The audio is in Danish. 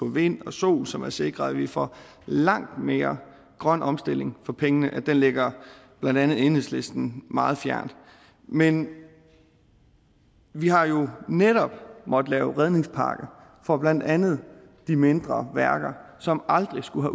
vind og sol som har sikret at vi får langt mere grøn omstilling for pengene ligger blandt andet enhedslisten meget fjernt men vi har jo netop måttet lave en redningspakke for blandt andet de mindre værker som aldrig skulle